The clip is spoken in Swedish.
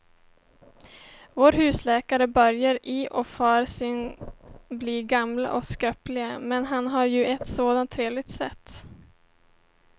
Vår husläkare börjar i och för sig bli gammal och skröplig, men han har ju ett sådant trevligt sätt!